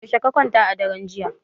Yaushe ka kwanta a daren jiya?